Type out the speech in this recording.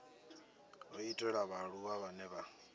ho itelwa vhaaluwa vhane vha